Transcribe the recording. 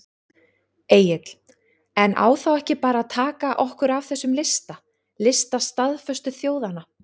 Egill: En á þá ekki bara að taka okkur af þessum lista, lista staðföstu þjóðanna?